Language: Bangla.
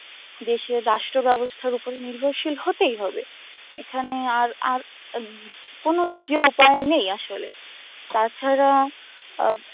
দেশীয় রাষ্ট্র ব্যবস্থার ওপরে নির্ভরশীল হতেই হবে এখানে আর আর উম কোন দ্বিতীয় উপায় নেই আসলে তাছাড়া অব